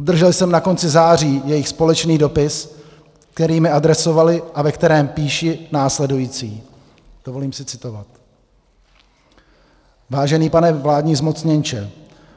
Obdržel jsem na konci září jejich společný dopis, který mi adresovali a ve kterém píší následující - dovolím si citovat: "Vážený pane vládní zmocněnče,